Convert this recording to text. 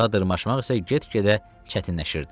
Dağa dırmaşmaq isə get-gedə çətinləşirdi.